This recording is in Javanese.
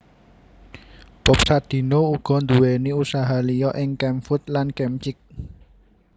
Bob Sadino uga nduwèni usaha liya ing Kemfood lan Kemchick